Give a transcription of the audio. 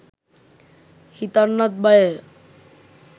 හිතන්නත් බයය